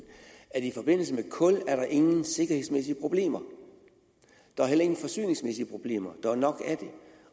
at i forbindelse med kul er der ingen sikkerhedsmæssige problemer der er heller ingen forsyningsmæssige problemer der er nok af det